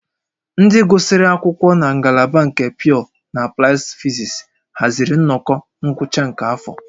Ndị gụsịrị akwụkwọ na ngalaba nke Pyọọ na Aplaịd Fizis haziri nnọkọ ngwụcha nke afọ